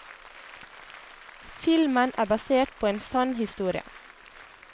Filmen er basert på en sann historie.